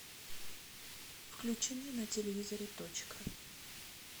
включи мне на телевизоре точка